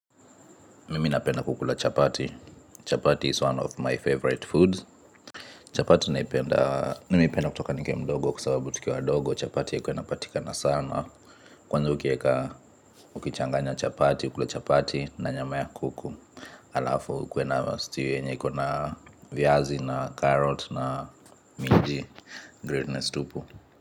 Mimi napenda kukula chapati, chapati is one of my favorite foods. Chapati naipenda, nimeipenda kutoka nikiwa mdogo kusababu tukiwa dogo chapati haikuwa inapatikana sana. Kwanza ukieka, ukichanganya chapati, ukule chapati na nyama ya kuku. Alafu ukuwe na stew yenye ikona viazi na carrot na minji, greatness tupu.